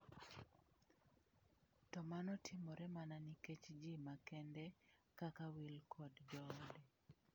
“To mano timore mana nikech ji makende kaka Will kod joode.”